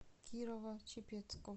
кирово чепецку